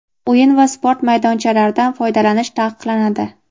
O‘yin va sport maydonchalaridan foydalanish taqiqlanadi.